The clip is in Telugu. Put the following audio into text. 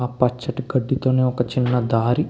ఆ పచ్చటి గడ్డితోనే ఒక చిన్న దారి --